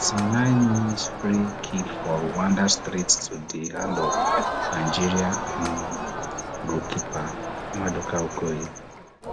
ti nine mins free kick for rwanda straight to di hand of nigeria um goalkeeper maduka okoye